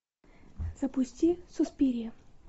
запусти суспирия